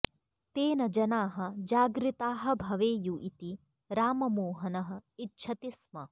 तेन जनाः जागृताः भवेयु इति राममोहनः इच्छति स्म